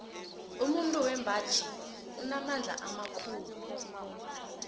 umuntu wembaji unamandla khulu